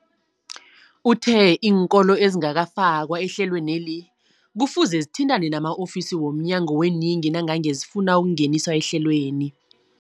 Uthe iinkolo ezingakafakwa ehlelweneli kufuze zithintane nama-ofisi wo mnyango weeyingi nangange zifuna ukungeniswa ehlelweni.